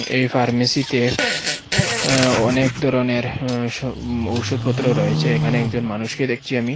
এই ফার্মেসিতে আঃ অনেক ধরনের আঃ সব ঔষুধপত্র রয়েছে এখানে একজন মানুষকে দেখছি আমি।